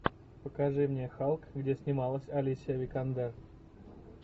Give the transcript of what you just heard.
покажи мне халк где снималась алисия викандер